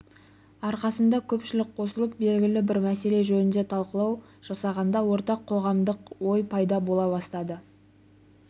арқасында көпшілік қосылып белгілі бір мәселе жөнінде талқылау жасағанда ортақ қоғамдық ой пайда бола бастады